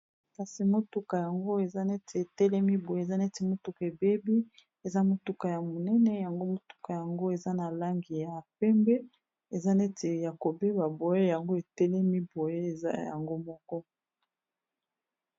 kasi motuka yango eza neti etelemi boye eza neti motuka ebebi eza motuka ya monene yango motuka yango eza na langi ya pembe eza neti ya kobeba boye yango etelemi boye eza yango moko.